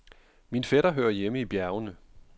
Min fætter hører hjemme i bjergene.